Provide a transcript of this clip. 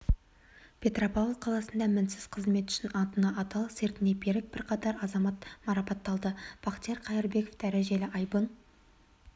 петропавл қаласында мінсіз қызметі үшін антына адал сертіне берік бірқатар азамат марапатталды бақтияр қайырбеков дәрежелі айбын